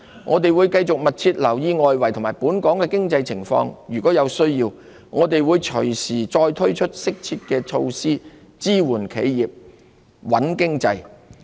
我們會繼續密切留意外圍及本港的經濟情況，如有需要，我們會隨時再推出適切的措施，支援企業、穩經濟。